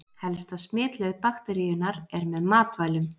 Helsta smitleið bakteríunnar er með matvælum.